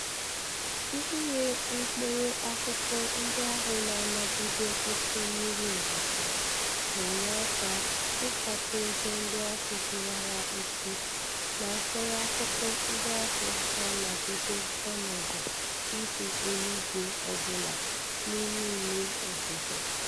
Ire mkpụrụ akụkụ ndị ahụ na-anagide oke mmiri ozuzo na-enye aka ịkpata ego ndị ahụ hiwara isi na mkpụrụ akụkụ ndị ahụ na-anagide ọnọdụ ihu eluigwe ọbụla n'ime ime obodo.